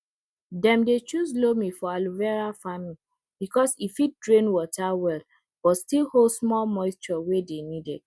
dem dey choose loam for aloe vera farming because e fit drain water well but still hold small moisture wey dey needed